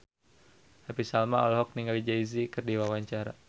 Happy Salma olohok ningali Jay Z keur diwawancara